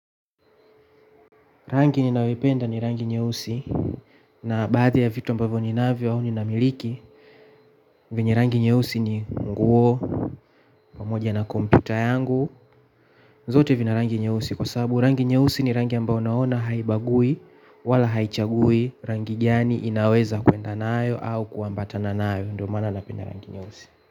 Rangi ninayoipenda ni rangi nyeusi na baadhi ya vitu ambavyo ninavyo au ninamiliki vyenye rangi nyeusi ni nguo pamoja na kompyuta yangu zote vina rangi nyeusi kwa sababu rangi nyeusi ni rangi ambayo naona haibagui wala haichagui. Rangi gani inaweza kwenda nayo au kuambatana nayo ndo maana napenda rangi nyeusi.